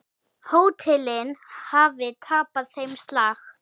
Hótelin hafi tapað þeim slag.